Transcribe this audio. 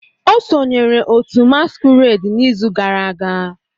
O sonyeere otu masquerade n'izu gara aga.